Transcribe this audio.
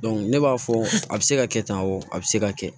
ne b'a fɔ a bɛ se ka kɛ tan o a bɛ se ka kɛ